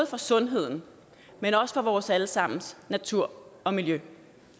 for sundheden men også for vores alle sammens natur og miljø